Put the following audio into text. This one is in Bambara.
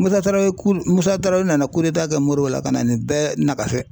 Musa Tarawele , Musa Tarawele nana kɛ Modibo la ka na nin bɛɛ nagasi .